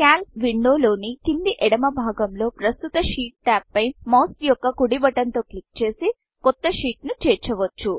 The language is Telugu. కాల్క్ windowక్యాల్క్ విండొ లోని కింది ఎడమ భాగం లో ప్రస్తుత షీట్ tab షీట్ ట్యాబ్పై మౌస్ యొక్క కుడి బటన్ తో క్లిక్ చేసి కొత్త షీట్ ను చేర్చవచ్చు